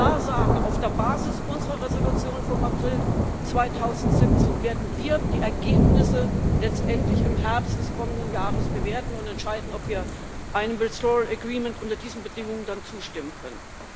Wir werden klar sagen Auf der Basis unserer Entschließung vom April 2017 werden wir die Ergebnisse letztendlich im Herbst des kommenden Jahres bewerten und entscheiden, ob wir einem withdrawal agreement unter diesen Bedingungen dann zustimmen können.